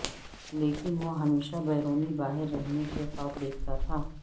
لیکن وہ ہمیشہ بیرونی باہر رہنے کے خواب دیکھتا تھا